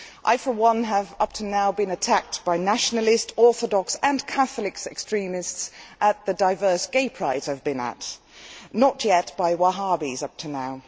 I for one have up to now been attacked by nationalist, Orthodox and Catholic extremists at the diverse Gay Prides I have been at, not yet by Wahhabis up to now.